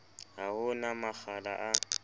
ha ho na makgala a